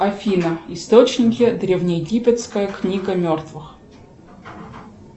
афина источники древне египетская книга мертвых